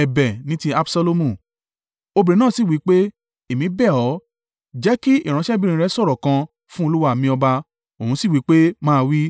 Obìnrin náà sì wí pé, “Èmí bẹ̀ ọ́, jẹ́ kí ìránṣẹ́bìnrin rẹ sọ̀rọ̀ kan fún olúwa mi ọba.” Òun si wí pé, “Máa wí.”